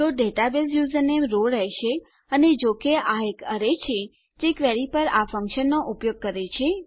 તો database username row રહેશે અને જો કે આ એક એરે છે જે આપણી ક્વેરી પર આ ફંક્શનનો ઉપયોગ કરે છે